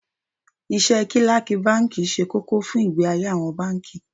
Iṣẹ́ Kílákì báńkì ṣe kókó fún ìgbé ayé àwọn báńkì.